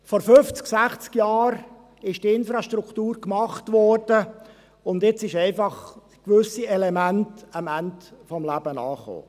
Vor 50, 60 Jahren wurde die Infrastruktur gemacht, und jetzt sind gewisse Elemente einfach am Ende ihres Lebens angekommen.